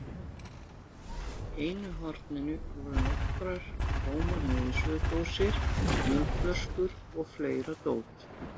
Í einu horninu voru nokkrar tómar niðursuðudósir, vínflöskur og fleira dót.